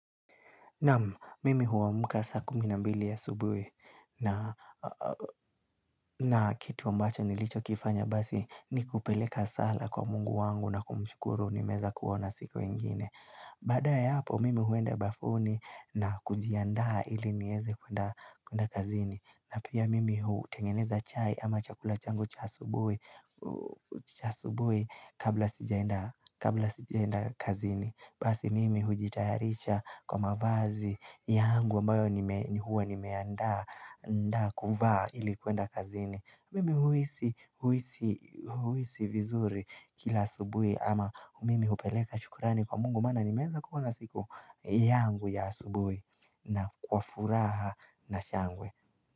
Naam, mimi amka saa kumi na mbili ya asubui na kitu ambacho nilichokifanya basi ni kupeleka saa kwa mungu wangu na kumshukuru nimeweza kuoana siku ingine. Badae hapo, mimi huenda bafuni na kujiandaa ili nieze kwenda kazini. Na pia mimi hutengeneza chai ama chakula changu cha asubui kabla sijaenda kazini. Basi mimi hujitayaricha kwa mavazi yangu ambayo huwa nimeandaa kuvaa ili kuenda kazini. Mimi huisi huisi huisi vizuri kila asubui ama mimi hupeleka chukrani kwa mungu maana nimeweza kuona siku yangu ya asubui na kwa furaha na shangwe.